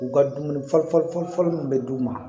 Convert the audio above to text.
U ka dumuni fɔli fɔli fɔli min bɛ d'u ma